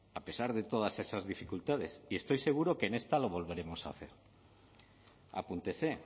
a pesar de todas esas dificultades y estoy seguro que en esta lo volveremos a hacer apúntese